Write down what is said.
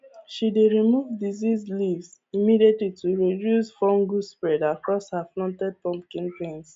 she dey remove diseased leaves immediately to reduce fungus spread across her fluted pumpkin vines